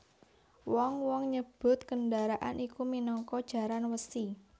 Wong wong nyebut kendharaan iku minangka jaran wesi